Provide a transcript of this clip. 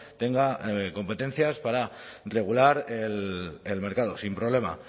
tenga competencias para regular el mercado sin problema